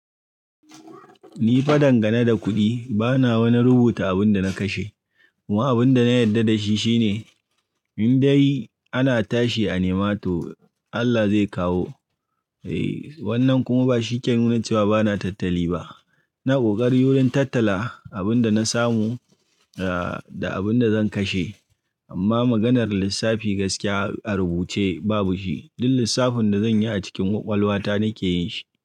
Ni fa dangane da kuɗi bana wani rubuta abin da na kashe kuma abin da na yarda da shi shine in dai ana tashi a nema to Allah zai kawo. Eh wannan kuma ba shike nuna cewa bana tattali ba. Ina ƙoƙari wurin tattala abin da na samu ah da abin da zan kashe amma maganar lissafi gaskiya a rubuce babu shi. Duk lissafin da zan yi a cikin ƙwaƙwalwa ta nake yin shi.